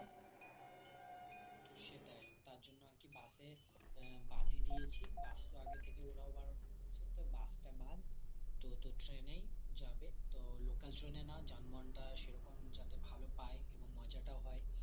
সেটাই তারজন্য আরকি bus এ বাদ ই দিয়েছি bus তো আগে থেকে ওরাও বারণ করেছে তো bus টা বাদ তো তোর train এই যাবে তো local train এ না যানবাহনটা সেরকম যাতে ভালো পায় এবং মজাটাও হয়